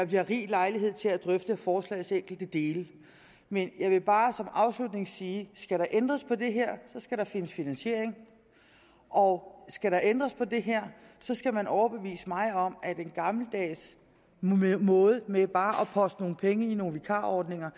bliver rig lejlighed til at drøfte forslagets enkelte dele men jeg vil bare som afslutning sige skal der ændres på det her skal der findes finansiering og skal der ændres på det her skal man overbevise mig om at den gammeldags måde med bare at poste penge i nogle vikarordninger